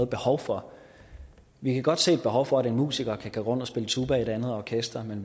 behov for vi kan godt se et behov for at en musiker kan gå rundt og spille tuba i et andet orkester